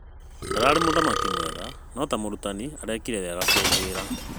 Ndararĩ mũthaki mwega nũ ta mũrutani arĩkire wega kũngĩra.